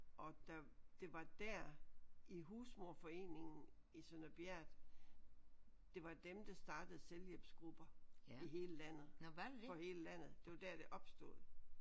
Og der det var der i Husmoderforeningen i Sønder Bjert det var dem der startede selvhjælpsgrupper i hele landet for hele landet det var der det opstod